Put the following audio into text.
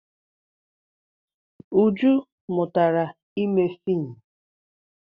Uju mụtara ime fiim.